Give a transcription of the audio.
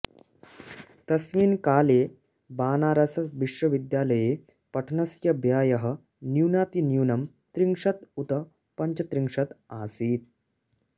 तस्मिन् काले बनारसविश्वविद्यालये पठनस्य व्ययः न्यूनातिन्यूनं त्रिंशत् उत पञ्चत्रिंशत् आसीत्